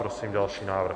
Prosím další návrh.